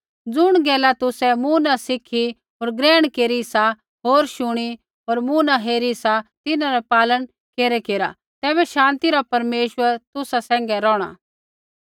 ज़ुण गैला तुसै मूँ न सिखी होर ग्रहण केरी सा होर शुणी होर मूँ न हेरी सा तिन्हां रा पालन केरै केरा तैबै शान्ति रा परमेश्वरा तुसा सैंघै रौहणा